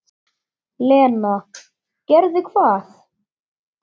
Lena: Gerði hvað?